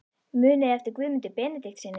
Muniði eftir Guðmundi Benediktssyni?